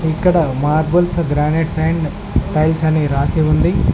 ఇక్కడ marbles granite and tiles అని రాసి ఉంది.